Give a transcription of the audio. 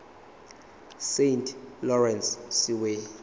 saint lawrence seaway